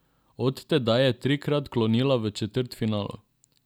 Od tedaj je trikrat klonila v četrtfinalu.